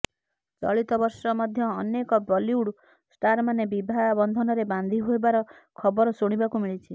ଚଳିତ ବର୍ଷ ମଧ୍ୟ ଅନେକ ବଲିଉଡ୍ ଷ୍ଟାରମାନେ ବିବାହ ବନ୍ଧନରେ ବାନ୍ଧି ହେବାର ଖବର ଶୁଣିବାକୁ ମିଳିଛି